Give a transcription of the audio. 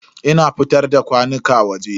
Ina fitar da kwanuka waje.